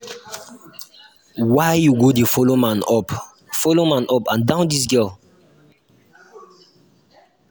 why you go dey follow man up follow man up and down dis girl